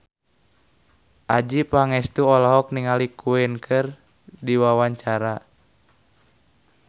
Adjie Pangestu olohok ningali Queen keur diwawancara